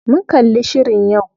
Mun kalli shirin yau.